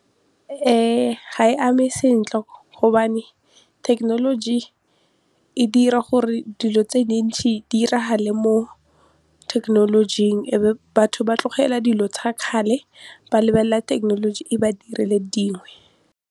Ga e ame sentle gobane technology e dira gore dilo tse dintšhe di diragale mo thekenolojing e be batho ba tlogela dilo tsa kgale ba lebelela technology e ba direle .